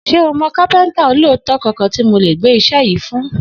S̩e o mò̩ kápé̩ǹtà olóòótó kankan tí mo lè gbé is̩é̩ yìí fún?